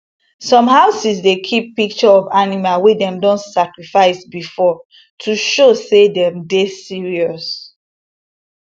some houses dey keep pic tureof animal wey dem don sacrifice before to show say dem dey serious